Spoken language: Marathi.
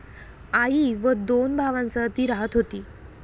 आई व दोन भावांसह ती राहत होती.